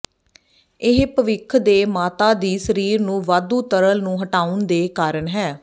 ਇਹ ਭਵਿੱਖ ਦੇ ਮਾਤਾ ਦੀ ਸਰੀਰ ਨੂੰ ਵਾਧੂ ਤਰਲ ਨੂੰ ਹਟਾਉਣ ਦੇ ਕਾਰਨ ਹੈ